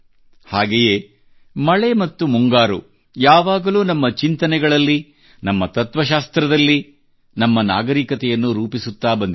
ಹಾಗೆಯೇ ಮಳೆ ಮತ್ತು ಮುಂಗಾರು ಯಾವಾಗಲೂ ನಮ್ಮ ಚಿಂತನೆಗಳಲ್ಲಿ ನಮ್ಮ ತತ್ವಶಾಸ್ತ್ರದಲ್ಲಿ ಮತ್ತು ನಮ್ಮ ನಾಗರಿಕತೆಯನ್ನು ರೂಪಿಸುತ್ತಾ ಬಂದಿದೆ